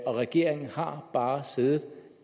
regeringen har bare siddet